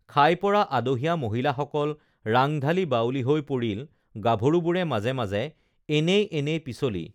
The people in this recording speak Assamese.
খাই পৰা আদহীয়া মহিলাসকল ৰাংধালী বাউলী হৈ পৰিল গাভৰুবোৰে মাজে মাজে এনেই এনেই পিচলি